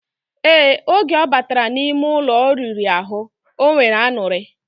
Ee, oge obatara na ime Ụlọ oriri ahu, onwere anuri.